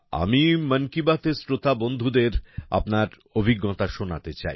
আমি মন কি বাতের শ্রোতা বন্ধুদের আপনার অভিজ্ঞতাশোনাতে চাই